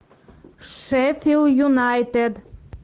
шеффилд юнайтед